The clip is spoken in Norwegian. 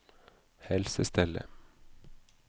helsestellet